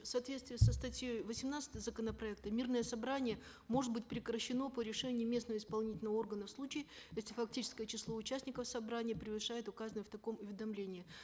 в соответствии со статьей восемнадцатой законопроекта мирное собрание может быть прекращено по решению местного исполнительного органа в случае если фактическое число участников собрания превышает указанное в таком уведомлении